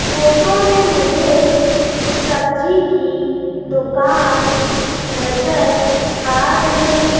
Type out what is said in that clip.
Photo में मुझे सब्जी कि दुकान नजर आ रही हैं।